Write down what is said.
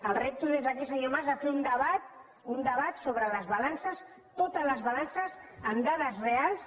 el repto des d’aquí senyor mas a fer un debat un debat sobre les balances totes les balances amb dades reals